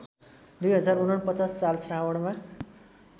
२०४९ साल श्रावणमा